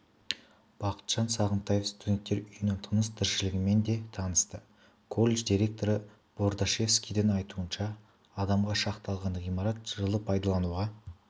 бақытжан сағынтаев студенттер үйінің тыныс-тіршілігімен де танысты колледж директоры болдашевскийдің айтуынша адамға шақталған ғимарат жылы пайдалануға